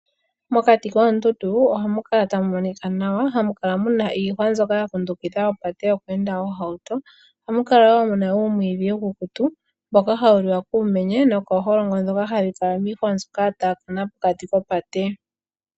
Mokati koondundu ohamu kala tamu monika nawa, hamu kala muna iihwa mbyoka ya kundukidha opate yokweenda oohauto. Ohamu kala woo muna uumwiidhi uukukutu, mboka hawu liwa kuumenye nokooholongo, ndhoka hadhi kala miihwa mbyoka ya taakana pokati kopate.